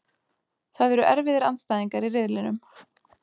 Það eru erfiðir andstæðingar í riðlinum.